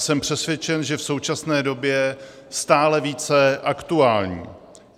Jsem přesvědčen, že v současné době stále více aktuální.